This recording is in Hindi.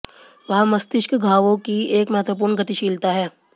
वहाँ मस्तिष्क घावों की एक महत्वपूर्ण गतिशीलता है